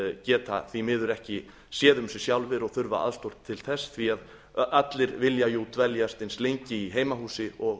geta því miður ekki séð um sig sjálfir og þurfa aðstoð til þess því að allir vilja jú dveljast eins lengi í heimahúsi og